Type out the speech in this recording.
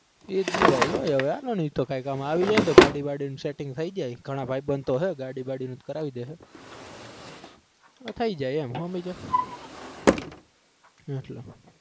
એજ ને ભાઈ એ તો કઈ આમ આવી જાયને તો ગાડી-બાળીનું setting થઇ જાય ઘણા ભાઈબંધ તો છે ગાડી-બાડીનું કરાવી દેશે થઇ જાય એમ સમજ્યો એટલે